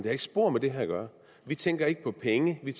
har ikke spor med det at gøre vi tænker ikke på penge vi